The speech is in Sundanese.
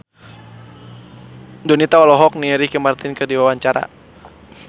Donita olohok ningali Ricky Martin keur diwawancara